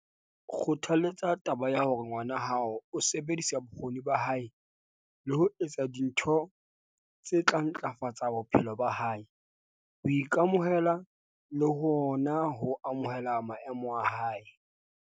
Kgothaletsa taba ya hore ngwana hao o sebedisa bokgoni ba hae le ho etsa dintho tse tla ntlafatsa boitshepo ba hae, ho ika-mohela le hona ho amohela maemo a hae.